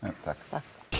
takk